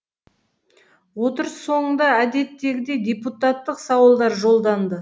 отырыс соңында әдеттегідей депутаттық сауалдар жолданды